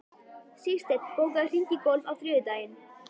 Sigsteinn, bókaðu hring í golf á þriðjudaginn.